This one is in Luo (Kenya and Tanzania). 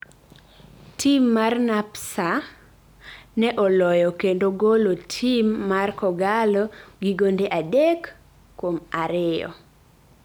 tim mar NAPSA ne oloyo kendo golo tim mar K'Ogalo gi gonde adek kuom Ariyo